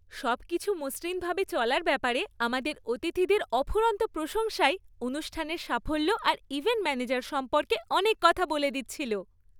সবকিছু মসৃণভাবে চলার ব্যাপারে আমাদের অতিথিদের অফুরন্ত প্রশংসাই অনুষ্ঠানের সাফল্য আর ইভেন্ট ম্যানেজার সম্পর্কে অনেক কথা বলে দিচ্ছিল।